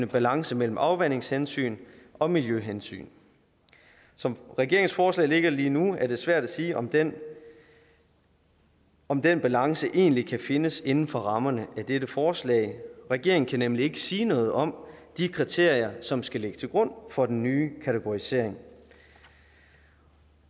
balance mellem afvandingshensyn og miljøhensyn som regeringens forslag ligger lige nu er det svært at sige om den om den balance egentlig kan findes inden for rammerne af dette forslag regeringen kan nemlig ikke sige noget om de kriterier som skal ligge til grund for den nye kategorisering